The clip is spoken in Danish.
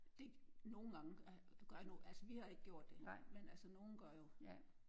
Det nogen gange gør altså vi har ikke gjort det men altså nogen gør jo